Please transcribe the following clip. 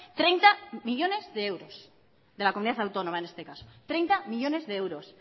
treinta millónes de euros de la comunidad autónoma en este caso treinta millónes de euros